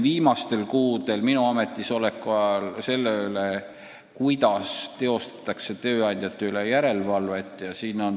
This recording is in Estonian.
Viimastel kuudel, minu ametisoleku ajal on käinud vaidlus selle üle, kuidas teostatakse tööandjate üle järelevalvet.